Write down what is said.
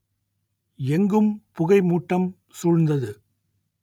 எங்கும் புகை மூட்டம் சூழ்ந்தது